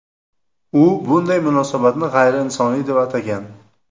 U bunday munosabatni g‘ayriinsoniy deb atagan.